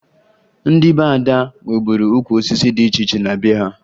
Ndị be Ada nweburu ukwu osisi dị iche iche na be ha